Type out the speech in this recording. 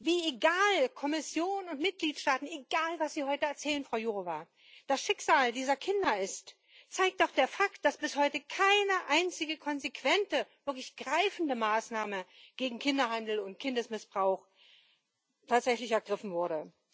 Wie egal Kommission und Mitgliedstaaten egal, was Sie heute erzählen, Frau Jourová das Schicksal dieser Kinder ist, zeigt auch der Fakt, dass bis heute keine einzige konsequente, wirklich greifende Maßnahme gegen Kinderhandel und Kindesmissbrauch tatsächlich ergriffen wurde.